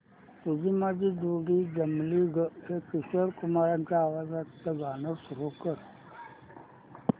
तुझी माझी जोडी जमली गं हे किशोर कुमारांच्या आवाजातील गाणं सुरू कर